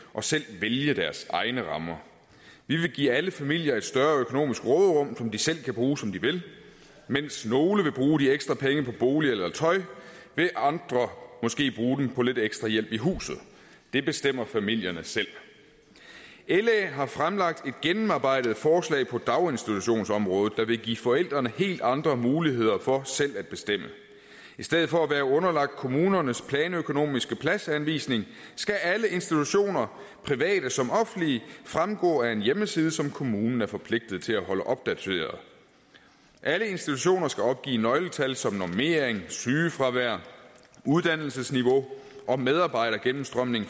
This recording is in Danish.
og selv vælge deres egne rammer vi vil give alle familier et større økonomisk råderum som de selv kan bruge som de vil mens nogle vil bruge de ekstra penge på bolig eller tøj vil andre måske bruge dem på lidt ekstra hjælp i huset det bestemmer familierne selv la har fremlagt et gennemarbejdet forslag på daginstitutionsområdet der vil give forældrene helt andre muligheder for selv at bestemme i stedet for at være underlagt kommunernes planøkonomiske pladsanvisning skal alle institutioner private som offentlige fremgå af en hjemmeside som kommunen er forpligtet til at holde opdateret alle institutioner skal opgive nøgletal som normering sygefravær uddannelsesniveau og medarbejdergennemstrømning